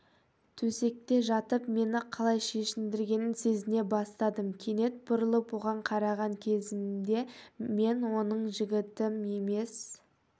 төсекте жатып мені қалай шешіндіргенін сезіне бастадым кенет бұрылып оған қараған кезімде мен оның жігітім емес